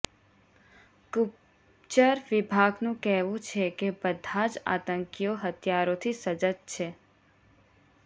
ગુપ્તચર વિભાગનું કહેવું છે કે બધા જ આતંકીઓ હથિયારોથી સજ્જ છે